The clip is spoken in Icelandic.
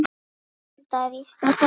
Anda, rístu á fætur.